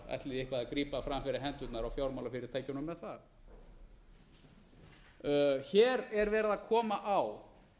að grípa fram fyrir hendurnar á fjármálafyrirtækjunum með það hér er verið að koma á